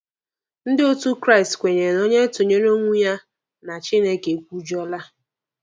Ndị otu Kraịst kwenyere na onye tunyere onwe ya na Chineke ekwujọla.